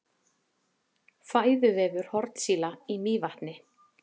fæðuvefur hornsíla í mývatni